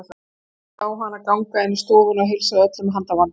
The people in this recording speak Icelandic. Hann horfði á hann ganga inn í stofuna og heilsa öllum með handabandi.